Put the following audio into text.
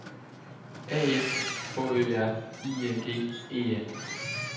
A F H Ø R I N G E N